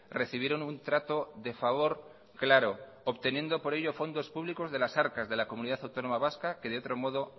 recibieron un trato de favor claro obteniendo por ello fondos públicos de las arcas de la comunidad autónoma vasca que de otro modo